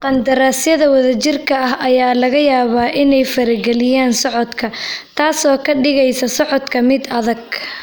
Qandaraasyada wadajirka ah ayaa laga yaabaa inay farageliyaan socodka, taasoo ka dhigaysa socodka mid adag.